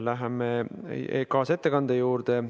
Läheme kaasettekande juurde.